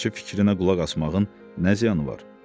Tamaşaçı fikrinə qulaq asmağın nə ziyanı var?